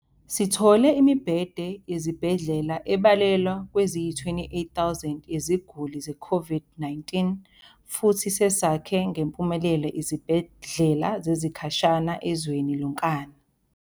Sithole imibhede yezibhedlela ebalelwa kweziyi-28,000 yeziguli ze-COVID-19 futhi sesakhe ngempumelelo izibhedlela zesikhashana ezweni lonkana.